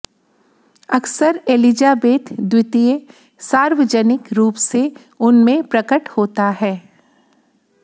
अक्सर एलिजाबेथ द्वितीय सार्वजनिक रूप से उन में प्रकट होता है